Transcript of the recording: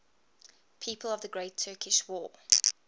people of the great turkish war